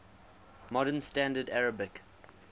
modern standard arabic